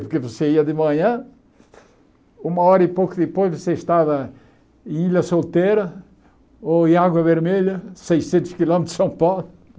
Porque você ia de manhã, uma hora e pouco depois você estava em Ilha Solteira ou em Água Vermelha, seiscentos quilômetros de São Paulo.